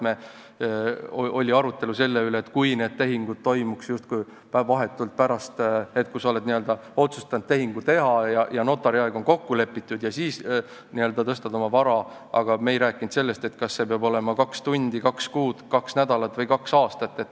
Me arutasime, kuidas on siis, kui tehingud toimuksid vahetult pärast seda, kui sa oled otsustanud tehingu teha, notariaeg on kokku lepitud ja siis tõstad oma vara, aga me ei rääkinud sellest, kas see peab olema kaks tundi, kaks kuud, kaks nädalat või kaks aastat.